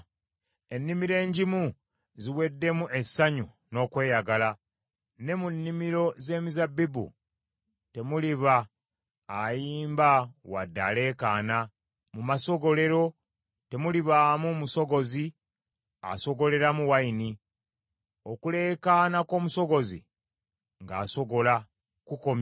Ennimiro engimu ziweddemu essanyu n’okweyagala; ne mu nnimiro z’emizabbibu temuliba ayimba wadde aleekaana; mu masogolero temulibaamu musogozi asogoleramu nvinnyo; okuleekaana kw’omusogozi ng’asogola kukomye.